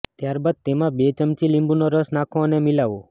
ત્યારબાદ તેમાં બે ચમચી લીંબુનો રસ નાખો અને મિલાવો